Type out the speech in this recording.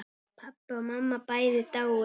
Pabbi og mamma bæði dáin.